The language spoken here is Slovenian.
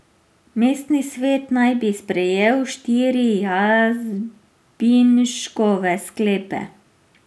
Mestni svet naj bi sprejel štiri Jazbinškove sklepe.